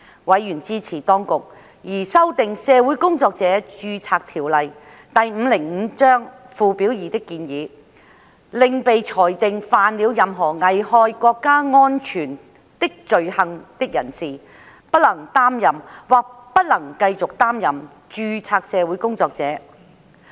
委員支持當局擬修訂《社會工作者註冊條例》附表2的建議，令被裁定犯了任何危害國家安全的罪行的人士不能擔任或不能繼續擔任註冊社會工作者。